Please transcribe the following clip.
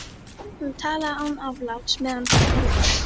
Hún talaði án afláts meðan hún borðaði.